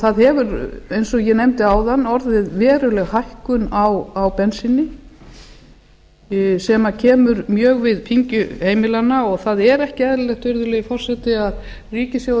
það hefur eins og ég nefndi áðan orðið veruleg hækkun á bensíni sem kemur mjög við pyngju heimilanna og það er ekki eðlilegt virðulegi forseti að ríkissjóður